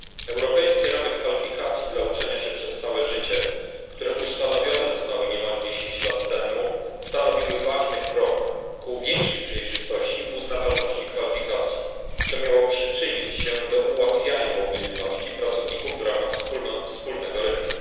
Europejskie ramy kwalifikacji dla uczenia się przez całe życie, które ustanowione zostały niemal dziesięć lat temu, stanowiły ważny krok ku większej przejrzystości uznawalności kwalifikacji, co miało przyczyniać się do ułatwiania mobilności pracowników w ramach wspólnego rynku.